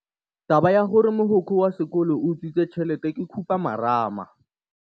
Taba ya gore mogokgo wa sekolo o utswitse tšhelete ke khupamarama.